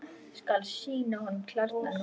Skal sýna honum klærnar núna.